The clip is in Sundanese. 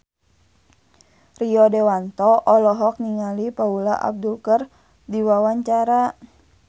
Rio Dewanto olohok ningali Paula Abdul keur diwawancara